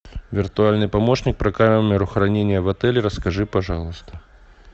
виртуальный помощник про камеру хранения в отеле расскажи пожалуйста